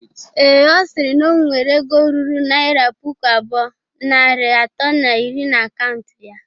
Ee, Ọ sịrị na o nwere ego ruru naira puku abụọ, narị atọ na iri na akaụntụ ya.